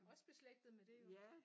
Også beslægtet med det jo